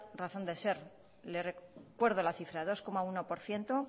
razón de ser le recuerdo la cifra dos coma uno por ciento